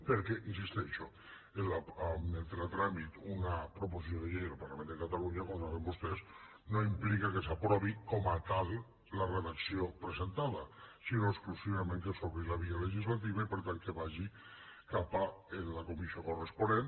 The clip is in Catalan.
perquè hi insisteixo que entri a tràmit una proposició de llei en el parlament de catalunya com saben vostès no implica que s’aprovi com a tal la redacció presentada sinó exclusivament que s’obri la via legislativa i per tant que vagi cap a la comissió corresponent